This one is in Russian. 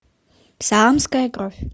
саамская кровь